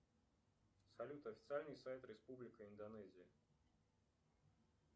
салют официальный сайт республика индонезия